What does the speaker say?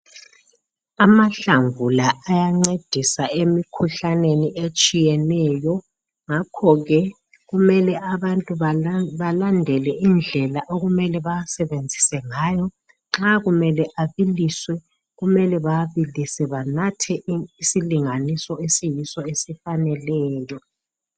Amahlamvu la ayencedisa emikhuhlaneni etshiyeneyo. Ngakho ke kumele abantu balandele indlela okumele bawasebenzise ngayo. Nxa kumele abiliswe, kumele bawabilise banathe isilinganiso esiyiso esifaneleyo